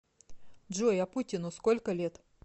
джой а путину сколько лет